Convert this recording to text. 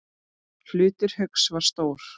Hlutur Hauks var stór.